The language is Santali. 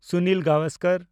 ᱥᱩᱱᱤᱞ ᱜᱟᱣᱟᱥᱠᱟᱨ